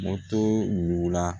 Moto yugula